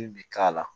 bi k'a la